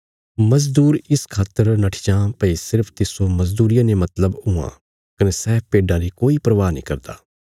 मजदूर इस खातर नट्ठी जां भई सिर्फ तिस्सो मजदूरिया ने मतलब हुआं कने सै भेड्डां री कोई परवाह नीं करदा